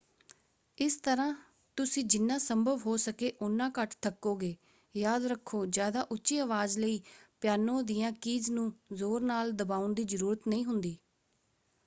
ਇਸ ਤਰ੍ਹਾਂ ਤੁਸੀਂ ਜਿਨ੍ਹਾਂ ਸੰਭਵ ਹੋ ਸਕੇ ਉਨ੍ਹਾਂ ਘੱਟ ਥੱਕੋਗੇ। ਯਾਦ ਰੱਖੋ ਜ਼ਿਆਦਾ ਉੱਚੀ ਅਵਾਜ਼ ਲਈ ਪਿਆਨੋ ਦੀਆਂ ਕੀਜ਼ ਨੂੰ ਜ਼ੋਰ ਨਾਲ ਦਬਾਉਣ ਦੀ ਜ਼ਰੂਰਤ ਨਹੀਂ ਹੁੰਦੀ।